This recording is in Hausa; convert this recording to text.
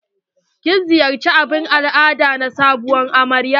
Kin ziyarci abun al'ada na sabuwar amarya?